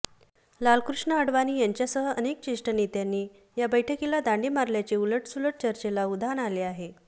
लालकृष्ण अडवाणी यांच्यासह अनेक ज्येष्ठ नेत्यांनी या बैठकीला दांडी मारल्याचे उलटसुलट चर्चेला उधाण आले आहे